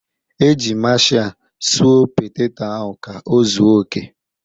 Eji maashia sụọ poteto ahụ ka ọ zuo oke.